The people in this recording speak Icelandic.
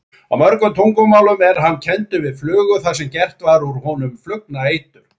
Á mörgum tungumálum er hann kenndur við flugur þar sem gert var úr honum flugnaeitur.